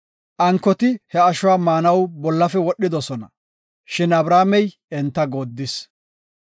Ankoti he ashuwa maanaw bollafe wodhidosona; shin Abramey enta goodis.